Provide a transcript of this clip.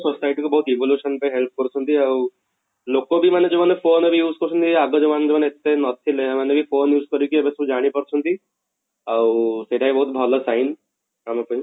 society କୁ ବହୁତ evolution ପାଇଁ help କରୁଛନ୍ତି ଆଉ ଲୋକ ବି ମାନେ ଯଉମାନେ phone ରେ use କରୁଛନ୍ତି ଆଗ ଯଉମାନେ ଏତେ ନଥିଲେ ସେମାନେ କି phone use କରିକି ଏବେ ସବୁ ଜାଣି ପାରୁଛନ୍ତି, ଆଉ ସେଇଟା ବି ବହୁତ ଭଲ shine ଆମ ପାଇଁ